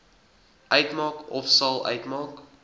uitmaak ofsal uitmaak